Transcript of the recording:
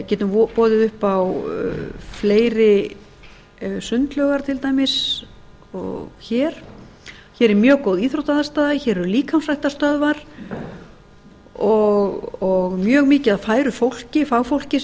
getum boðið upp á fleiri sundlaugar til dæmis en hér hér er mjög góð íþróttaaðstaða hér eru líkamsræktarstöðvar og mjög mikið af færu fólki fagfólki sem